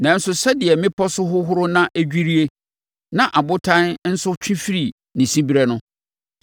“Nanso, sɛdeɛ mmepɔ so hohoro na ɛdwirie na abotan nso twe firi ne siberɛ no,